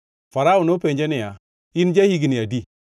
Farao nopenje niya, “In ja-higni adi?”